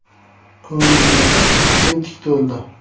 Ko‘nglimdagi kemtik to‘ldi.